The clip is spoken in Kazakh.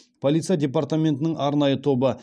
полиция департаментінің арнайы тобы